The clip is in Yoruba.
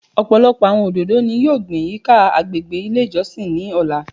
Ọpọlọpọ awọn ododo ni yoo gbin yika agbegbe ile ijọsin ni ọla